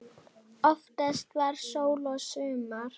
Oftast var sól og sumar.